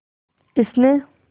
इसने